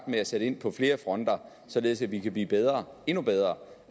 med at sætte ind på flere fronter således at vi kan blive bedre endnu bedre